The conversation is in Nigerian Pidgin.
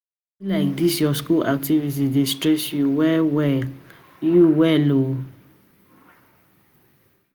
e be like dis your school activities dey stress you well you well well